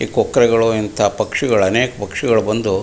ಈ ಕೊಕ್ಕರೆಗಳು ಇಂಥ ಪಕ್ಷಿಗಳು ಅನೇಕ ಪಾಕ್ಷಿಕಲು ಬಂದು-